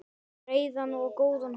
Breiðan og góðan hóp.